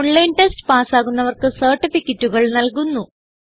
online test പാസ്സാകുന്നവർക്ക് സർട്ടിഫികറ്റുകൾ നല്കുന്നു